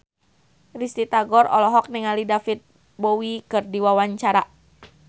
Risty Tagor olohok ningali David Bowie keur diwawancara